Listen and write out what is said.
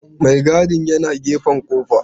Maigadin yana gefen kofar.